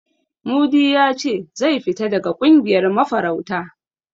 Mudi ya ce zai fita daga ƙungiyar mafarauta.